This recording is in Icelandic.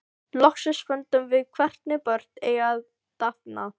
Loksins fundum við hvernig börn eiga að dafna.